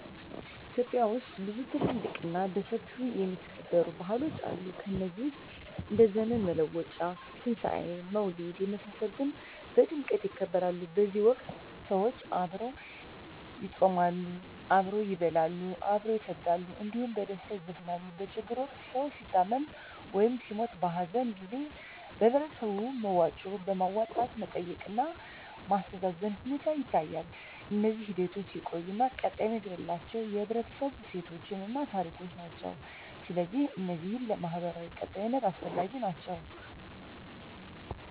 ኢትዮጵያ ውስጥ ብዙ ትልልቅ እና በሰፊው የሚከበሩ ባህሎች አሉ ከነዚህ ውስጥ እንደ ዘመን መለወጫ; ትንሣኤ; መውሊድ የመሳሰሉት በድምቀት ይከበራሉ በዚህ ወቅት ሰዎች አብረው ይጾማሉ፣ አብረው ይበላሉ፣ አብረው ይሰግዳሉ እንዲሁም በደስታ ይዘፍናሉ። በችግር ወቅት ሰዉ ሲታመም ወይም ሲሞት(በሀዘን) ጊዜ በህበረተሰቡ በመዋጮ በማዋጣት መጠየቅ እና ማስተዛዘን ሁኔታ ይታያል። እነዚህ ሂደቶች የቆዩ እና ቀጣይነት ያላቸው የህብረተሰቡ እሴቶችን እና ታሪኮችን ናቸው። ስለዚህ እነዚህ ለማህበራዊ ቀጣይነት አስፈላጊ ናቸው